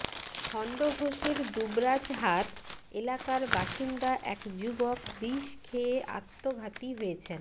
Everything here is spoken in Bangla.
খণ্ডঘোষের দুবরাজহাট এলাকার বাসিন্দা এক যুবক বিষ খেয়ে আত্মঘাতী হয়েছেন